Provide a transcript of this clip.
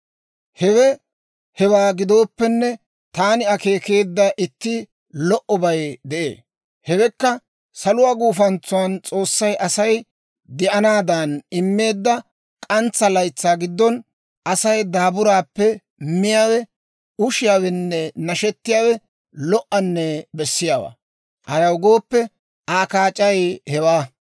Hewe hewaa gidooppenne, taani akeekeedda itti lo"obay de'ee; hewekka saluwaa gufantsan S'oossay Asay de'anaadan immeedda k'antsa laytsaa giddon, Asay daaburaappe miyaawe, ushiyaawenne nashettiyaawe lo"anne bessiyaawaa. Ayaw gooppe, Aa kaac'ay hewaa.